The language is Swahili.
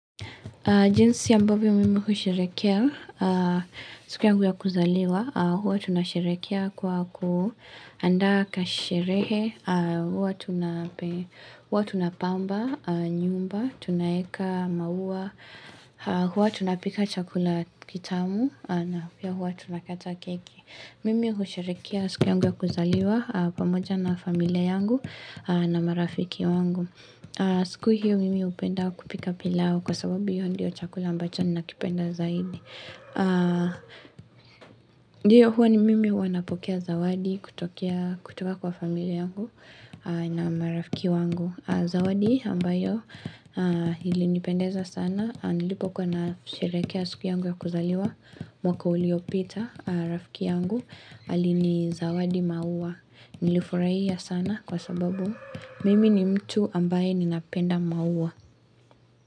Jinsi ya ambavyo mimi husherekea, siku yangu ya kuzaliwa, huwa tunasherekea kwa ku andaa kasherehe, huwa tuna. Huwa tunapamba, nyumba, tunaeka, maua, huwa tunapika chakula kitamu, na pia huwa tunakata keki. Mimi husherekea siku yangu ya kuzaliwa pamoja na familia yangu na marafiki wangu. Siku hiyo mimi hupenda kupika pilau kwa sababu hiyo ndiyo chakula ambacho nina kipenda zaidi. Ndiyo huwa ni mimi wanapokea zawadi kutokea kutoka kwa familia yangu na marafiki wangu. Zawadi ambayo ilinipendeza sana. Nilipo kuwa nasherekea siku yangu ya kuzaliwa mwaka uliopita, rafiki yangu. Ali nizawadi maua nilifurahia sana kwa sababu mimi ni mtu ambaye ninapenda maua.